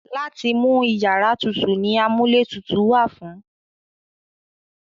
Láti mú iyàrá tutù ni amúlétutù wà fún.